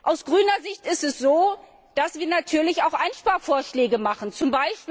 Aus grüner Sicht ist es so, dass wir natürlich auch Einsparvorschläge machen z.